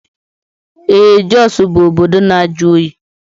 Ee Jọs bụ obodo na-ajụ oyi.